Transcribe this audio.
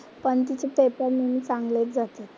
पण तिचे पेपर नेहमी चांगलेच जातात.